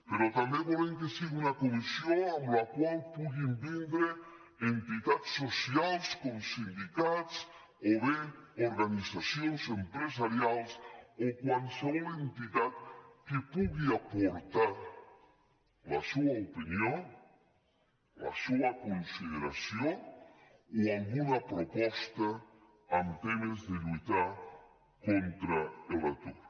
però també volem que sigui una comissió a la qual puguin vindre entitats socials com sindicats o bé organitzacions empresarials o qualsevol entitat que pugui aportar la seua opinió la seua consideració o alguna proposta amb temes de lluitar contar l’atur